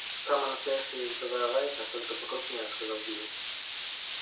самая настоящая ездовая лайка только покрупнее сказал билл